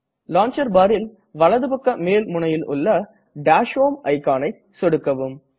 launcher barல் வலது பக்க மேல் முனையில் உள்ள டாஷ் ஹோம் iconஐ சொடுக்கலாம்